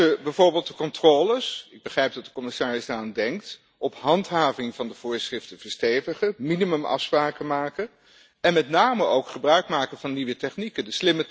We moeten bijvoorbeeld de controles ik begrijp dat de commissaris daaraan denkt op handhaving van de voorschriften verstevigen, minimumafspraken maken, en met name ook gebruikmaken van nieuwe technieken.